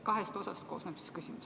Kahest osast koosneb see küsimus.